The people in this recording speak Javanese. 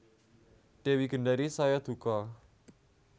Dewi Gendari saya duka